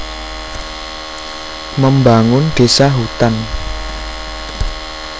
Membangun Désa Hutan